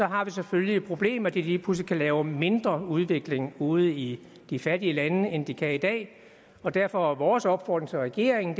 har vi selvfølgelig det problem at de lige pludselig lave mindre udvikling ude i de fattige lande end de kan i dag og derfor er vores opfordring til regeringen